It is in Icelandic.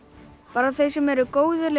bara þeir sem eru góðir